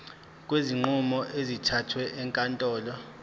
kwezinqumo ezithathwe ezinkantolo